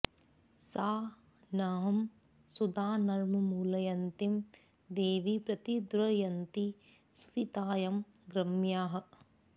सा नः॑ सु॒दानु॑र्मृ॒ळय॑न्ती दे॒वी प्रति॒ द्रव॑न्ती सुवि॒ताय॑ गम्याः